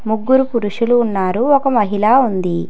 ముగ్గురు పురుషులు ఉన్నారు ఒక మహిళ ఉంది.